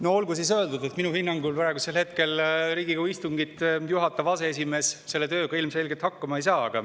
No olgu siis öeldud, et minu hinnangul praegu Riigikogu istungit juhatav aseesimees selle tööga ilmselgelt hakkama ei saa.